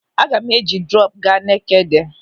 Aga m eji drọpụ aga Nekede.